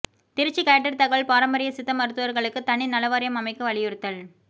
Trichy collector தகவல் பாரம்பரிய சித்த மருத்துவர்களுக்கு தனி நலவாரியம் அமைக்க வலியுறுத்தல்